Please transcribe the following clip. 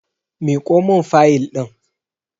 Miƙo mun fayil ɗin!